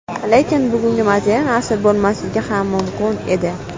Lekin bugungi modern asri bo‘lmasligi ham mumkin edi.